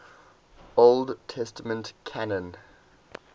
old testament canon